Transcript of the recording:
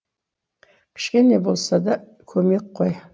кішкене болса да көмек қой